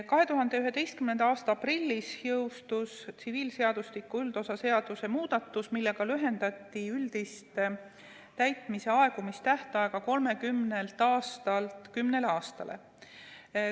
2011. aasta aprillis jõustus tsiviilseadustiku üldosa seaduse muudatus, millega lühendati üldist täitmise aegumise tähtaega 30 aastalt 10 aastale.